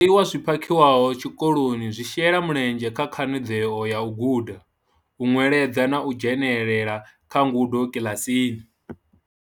Zwiḽiwa zwi phakhiwaho tshikoloni zwi shela mulenzhe kha khanadzeo ya u guda, u nweledza na u dzhenela kha ngudo kiḽasini.